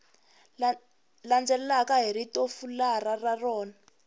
landzelaka hi ritofularha ra rona